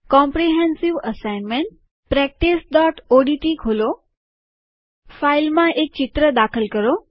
comprehensive assignment practice ODT ખોલો ફાઇલમાં એક ચિત્ર દાખલ કરો